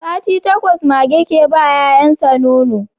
Sati takwas mage ke ba 'ya'yan sa nono